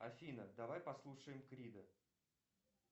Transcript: афина давай послушаем крида